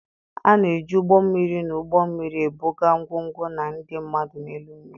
A na-eji ụgbọ mmiri na ụgbọ mmiri ebuga ngwongwo na ndị mmadụ n'elu mmiri.